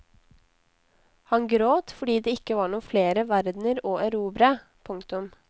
Han gråt fordi det ikke var noen flere verdener å erobre. punktum